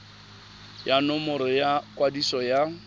ya nomoro ya kwadiso ya